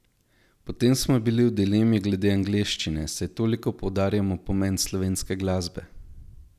Potem smo bili v dilemi glede angleščine, saj toliko poudarjamo pomen slovenske glasbe.